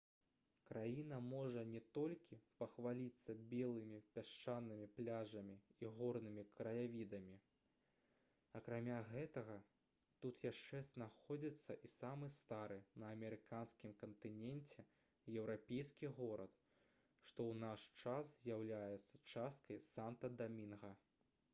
краіна можа не толькі пахваліцца белымі пясчанымі пляжамі і горнымі краявідамі акрамя гэтага тут яшчэ знаходзіцца і самы стары на амерыканскім кантыненце еўрапейскі горад што ў наш час з'яўляецца часткай санта-дамінга